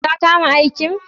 Ka kama aikin?